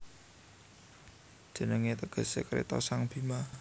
Jenengé tegesé Kreta sang Bhima